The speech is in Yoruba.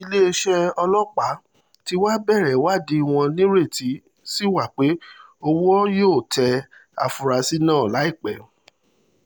iléeṣẹ́ ọlọ́pàá tí wàá bẹ̀rẹ̀ ìwádìí wọn nírètí sí wa pé owó yóò tẹ àfúrásì náà láìpẹ́